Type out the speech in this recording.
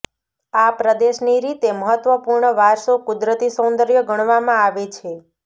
આ પ્રદેશની રીતે મહત્વપૂર્ણ વારસો કુદરતી સૌંદર્ય ગણવામાં આવે છે